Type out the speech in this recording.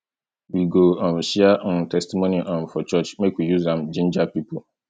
we go um share um testimony um for church make we use am jinja pipo